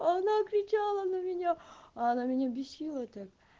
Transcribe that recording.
она кричала на меня она меня бесила это